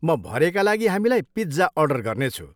म भरेका लागि हामीलाई पिज्जा अर्डर गर्नेछु।